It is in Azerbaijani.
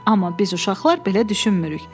Amma biz uşaqlar belə düşünmürük.”